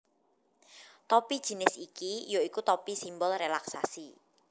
Topi jinis iki ya iku topi simbol rélaksasi